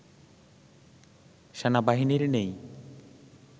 সেনাবাহিনীর নেই